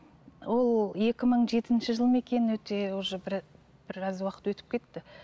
ол екі мың жетінші жыл ма екен өте уже біраз уақыт өтіп кетті